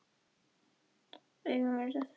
Augun virðast aftur á móti jafn stór.